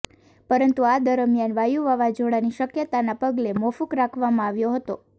પરંતુ આ દરમિયાન વાયુ વાવાઝોડાંની શક્યતાના પગલે મોકૂફ રાખવામાં આવ્યો હતો